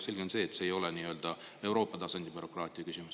Selge on see, et see ei ole nii-öelda Euroopa tasandi bürokraatia küsimus.